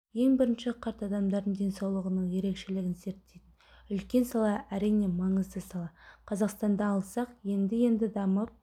ең бірінші қарт адамдардың денсаулығының ерекшелігін зерттейтін үлкен сала әрине маңызды сала қазақстанды алсақ енді-енді дамып